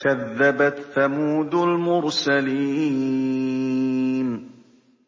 كَذَّبَتْ ثَمُودُ الْمُرْسَلِينَ